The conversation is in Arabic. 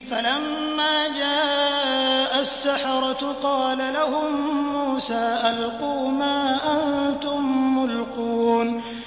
فَلَمَّا جَاءَ السَّحَرَةُ قَالَ لَهُم مُّوسَىٰ أَلْقُوا مَا أَنتُم مُّلْقُونَ